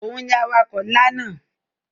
Òhun ni awakọ̀ ńlá náà.